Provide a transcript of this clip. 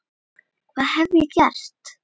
Hvað hef ég gert?